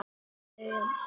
Össuri skákað fram.